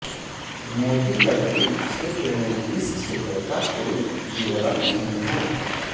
मोटी लकड़ी क्षेत्र में इस क्षेत्र का कोई विवरण नहीं है